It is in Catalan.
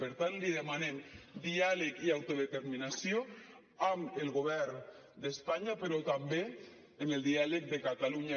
per tant li demanem diàleg i autodeterminació amb el govern d’espanya però també en el diàleg de catalunya